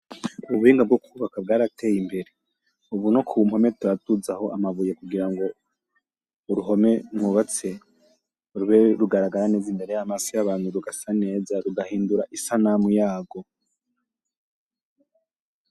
Ubuhinga bwo kubaka bwarateye imbere, ubu no kumpome turaduzaho amabuye kurango uruhome mwubatse rube rugaragara neza imbere yamaso yabantu rugasa neza rugahindura isanamu yarwo .